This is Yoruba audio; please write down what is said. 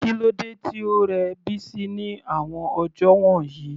Kílódé tí ó rẹ Bisi ní àwọn ọjọ́ wọ̀nyí?